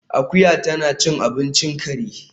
Akuya tana cin abincin kare